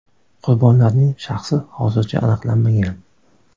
Qurbonlarning shaxsi hozircha aniqlanmagan.